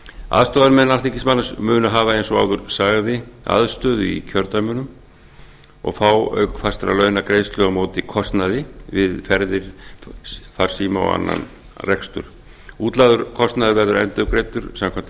aðstoðarmenn alþingismanna munu hafa eins og áður sagði aðstöðu í kjördæmunum og fá auk fastra launa greiðslu á móti kostnaði við ferðir farsíma og annan rekstur útlagður kostnaður verður endurgreiddur samkvæmt